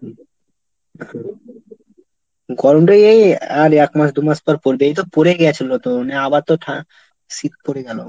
গরমটা এই আর এক মাস দুমাস পর পড়বে, এই তো পড়ে গিয়েছিল তো, মানে আবার তো ঠা ⁓ শীত পড়ে গেলো।